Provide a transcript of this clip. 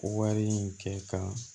Wari in kɛ ka